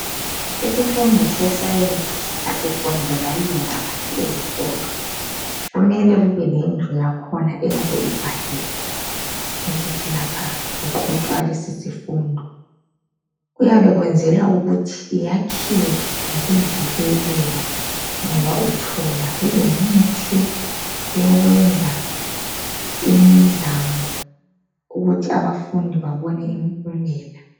Isifundo se-sayensi asifundelwa yiloba ngaphi ezikolo. Kumele kube lendlu yakhona eyabe ibhaliwe ukuthi lapha kuqhutshwa lesi sifundo. Kuyabe kwezelwa ukuthi yakhiwe ngokuvikeleka, ngoba uthola kulemithi yokwenza imizamo ukuthi abafundi babone impumela.